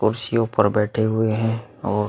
कुर्सियों पर बैठे हुए हैं और --